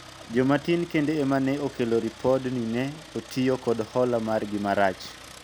jomatin kende ema ne okel ripod ni ne otiyo kod hola margi marach